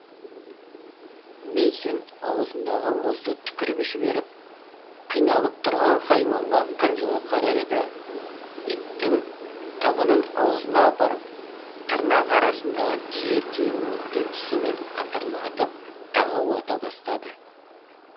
мэйсон аузындағы мұзды түкіріп жіберіп қиналып тұрған хайуанға қынжыла қарады да иттің табанын аузына апарып тырнақ арасындағы түйір түйір мұзды тісімен қытырлатып тағы уата бастады